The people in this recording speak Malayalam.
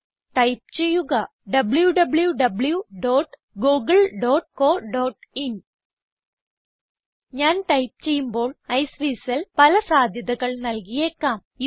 ടൈപ്പ് ചെയ്യുക wwwgooglecoin ഞാൻ ടൈപ്പ് ചെയ്യുമ്പോൾ ഐസ്വീസൽ പല സാധ്യതകൾ നല്കിയേക്കാം